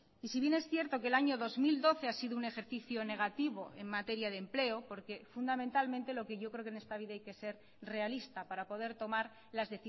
y si bien es cierto que el año dos mil doce ha sido un ejercicio negativo en materia de empleo porque fundamentalmente lo que yo creo que en esta vida hay que ser realista para poder tomar las